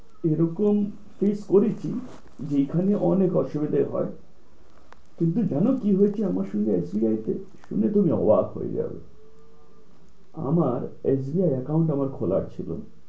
এই রকম face করেছি যেখানে অনেক অসুবিধা হয় তুমি কি জানো কি হয়েছে আমার সঙ্গে SBI তে? শুনে তুমি অবাক হয়ে যাবে। আমার SBI account আমার খোলা ছিল